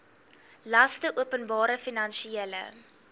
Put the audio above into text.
laste openbare finansiële